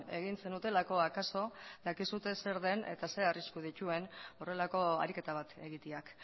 egin zenutelako akaso dakizue zer den eta ze arrisku dituen horrelako ariketa bat egiteak